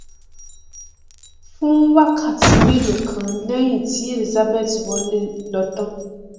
fún wákàtí mélòó kan lẹhìn tí elizabeth wọlé lọ tán